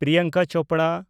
Priyanka Chopra